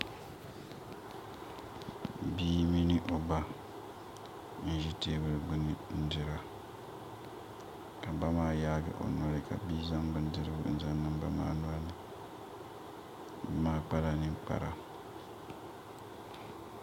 Bia mini o ba n ʒi teebuli gbuni n dira ka ba maa yaagi o noli ka bia zaŋ bindirigu n zaŋ niŋ ba maa nolini ba maa kpala ninkpara